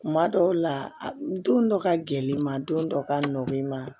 Kuma dɔw la don dɔ ka gɛrɛ i ma don dɔ ka nɔn i ma